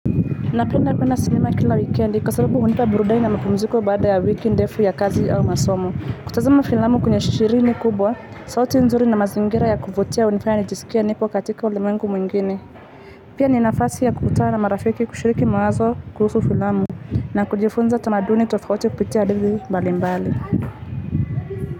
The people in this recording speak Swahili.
Napenda kuona sinema kila wikendi kwa sababu hunipa burudani na mapumziko baada ya wiki ndefu ya kazi au masomo. Kutazama filamu kwenye skrini kubwa, sauti nzuri na mazingira ya kuvutia hunifanya nijisikie nipo katika ulimwengu mwingine. Pia ni nafasi ya kukutana na marafiki kushiriki mawazo kuhusu filamu na kujifunza tamaduni tofauti upitia adili mbalimbali.